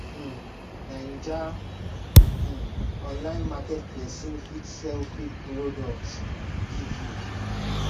um naija um online market pesin fit sell fake products give you